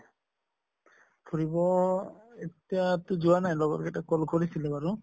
ফুৰিব এতিয়া টো যোৱা নাই লগৰ কেইটাক call কৰিছিলোঁ বাৰু